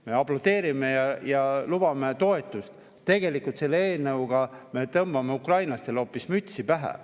Me aplodeerisime ja lubasime toetust, aga tegelikult selle eelnõuga me tõmbame ukrainlastele hoopis mütsi pähe.